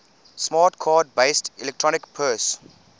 smart card based electronic purse